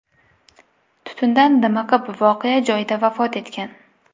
tutundan dimiqib, voqea joyida vafot etgan.